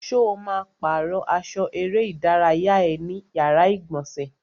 Ṣo ma pàrọ́ aṣọ eré ìdárayá ẹ ní yàrá ìgbọ̀nsẹ̀?